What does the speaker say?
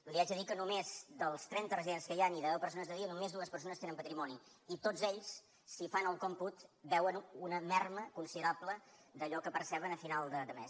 li haig de dir que només dels trenta residents que hi han i de deu persones de dia només dues persones tenen patrimoni i tots ells si fan el còmput veuen una minva considerable d’allò que perceben a final de mes